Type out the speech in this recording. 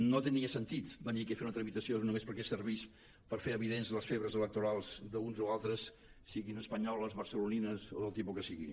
no tenia sentit venir aquí a fer una tramitació només perquè servís per fer evidents les febres electorals d’uns o altres siguin espanyoles barcelonines o del tipus que siguin